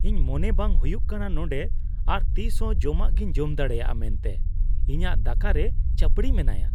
ᱤᱧ ᱢᱚᱱᱮ ᱵᱟᱝ ᱦᱩᱭᱩᱜ ᱠᱟᱱᱟ ᱱᱚᱸᱰᱮ ᱟᱨ ᱛᱤᱥ ᱦᱚᱸ ᱡᱚᱢᱟᱜᱤᱧ ᱡᱚᱢ ᱫᱟᱲᱮᱭᱟᱜᱼᱟ ᱢᱮᱱᱛᱮ, ᱤᱧᱟᱜ ᱫᱟᱠᱟ ᱨᱮ ᱪᱟᱹᱯᱲᱤ ᱢᱮᱱᱟᱭᱟ ᱾